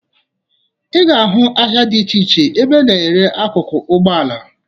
Ị ga-ahụ ahịa dị iche iche ebe a na-ere akụkụ ụgbọala